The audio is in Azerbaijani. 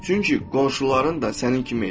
Çünki qonşuların da sənin kimi edir.